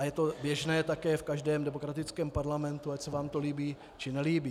A je to také běžné v každém demokratickém parlamentu, ať se vám to líbí, či nelíbí.